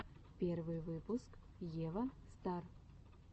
первый выпуск ева стар